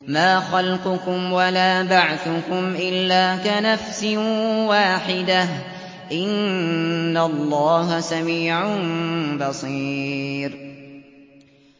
مَّا خَلْقُكُمْ وَلَا بَعْثُكُمْ إِلَّا كَنَفْسٍ وَاحِدَةٍ ۗ إِنَّ اللَّهَ سَمِيعٌ بَصِيرٌ